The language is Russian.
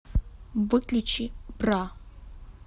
выключи бра